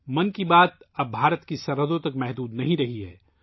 ' من کی بات ' اب ہندوستان کی سرحدوں تک محدود نہیں ہے